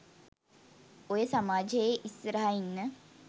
ඔය සමාජෙ ඉස්සරහ ඉන්න